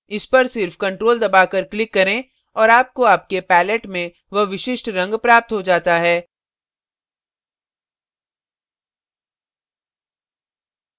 इस पर सिर्फ ctrl दबाकर click करें और आपको आपके pallet में वह विशिष्ट रंग प्राप्त हो जाता है